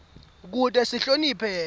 kute sihloniphe yena